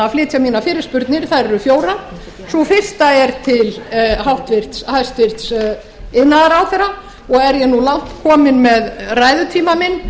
flytja mínar fyrirspurnir þær eru fjórar sú fyrsta er til hæstvirts iðnaðarráðherra og er ég nú langt komin með ræðutíma minn